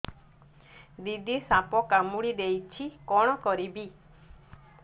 ଦିଦି ସାପ କାମୁଡି ଦେଇଛି କଣ କରିବି